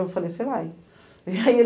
Eu falei, você vai. Aí ele